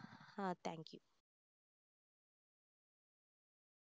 ah thank you